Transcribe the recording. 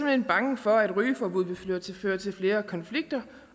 hen bange for at rygeforbud vil føre til flere konflikter